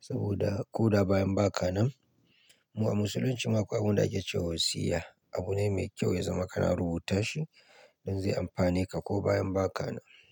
saboda ko da bayan baka nan. Mu a musuluncimu akwai abunda ake cewa wasiya, abu ne mai kyau ya zama kana rubuta shi don zai amfane ka ko bayan ba ka nan.